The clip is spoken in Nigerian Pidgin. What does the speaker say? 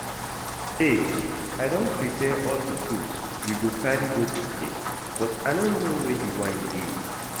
Babe I don prepare all the fruits we go carry go picnic but I no know where the wine dey